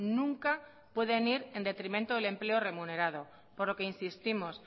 nunca pueden ir en detrimento del empleo remunerado por lo que insistimos